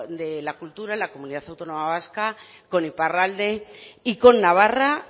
de la cultura en la comunidad autónoma vasca con iparralde con navarra